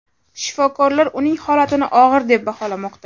Shifokorlar uning holatini og‘ir deb baholamoqda.